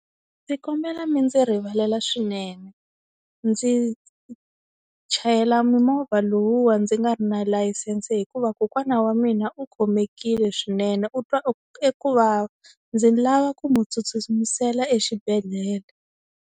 Ndzi kombela mi ndzi rivalela swinene ndzi chayela mimovha lowuwa ndzi nga ri na layisense hikuva kokwana wa mina u khomekile swinene u twa e kuvava ndzi lava ku n'wi tsutsumisela exibedhlele.